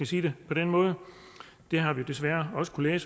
sige det på den måde det har vi desværre også kunnet